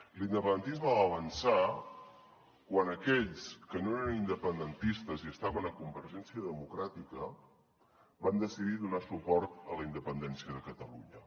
l’independentisme va avançar quan aquells que no eren independentistes i estaven a convergència democràtica van decidir donar suport a la independència de catalunya